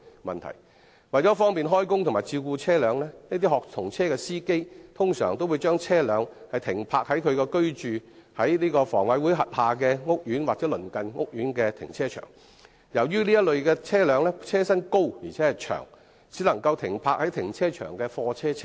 為了方便開工及照顧車輛，一些學童車的司機通常會把車輛停泊在所居住香港房屋委員會轄下的屋苑或鄰近屋苑的停車場，但這類車輛的車身既高且長，故此只能夠停泊在停車場的貨車車位。